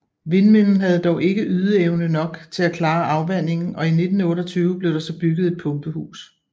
Vindmøllen havde dog ikke ydeevne nok til at klare afvandingen og i 1928 blev der så bygget et pumpehus